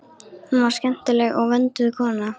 Hún var skemmtileg og vönduð kona.